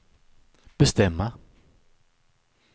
bestämma